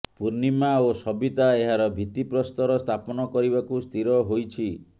ପୂର୍ଣ୍ଣିମା ଓ ସବିତା ଏହାର ଭିତ୍ତିପ୍ରସ୍ଥର ସ୍ଥାପନ କରିବାକୁ ସ୍ଥିର ହୋଇଛି